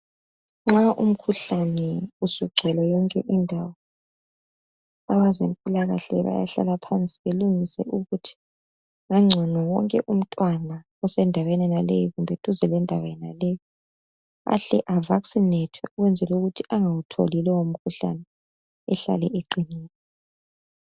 Nxa umkhuhlane usugcwele yonke indawo, abezempilakahle bayahlala phansi belungise ukuthi, ngangcono wonke umntwana osendaweni yonaleyi kumbe duzane lendawo leyi aVaccinethwe ahlale eqinile.